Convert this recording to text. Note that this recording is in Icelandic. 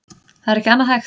Það er ekki annað hægt